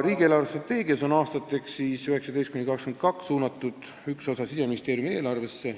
Riigi eelarvestrateegiaga aastateks 2019–2022 on suunatud Siseministeeriumi eelarvesse